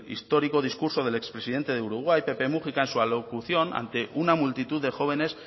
histórico discurso del expresidente de uruguay pepe múgica en su alocución ante una multitud de jóvenes